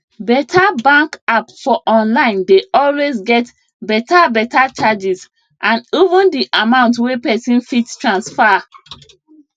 beta bank app for online dey always get beta beta charges and even di amount wey pesin fit transfer